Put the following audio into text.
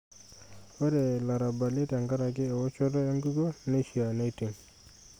Ore larabali tenkaraki ewoshoto enkukuo neishaa neiting'.